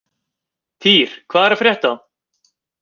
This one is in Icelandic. Týr, hvað er að frétta?